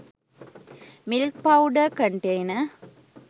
milk powder container